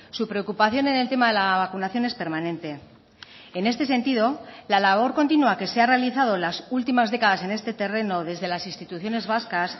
su preocupación en el tema de la vacunación es permanente en este sentido la labor continua que se ha realizado las últimas décadas en este terreno desde las instituciones vascas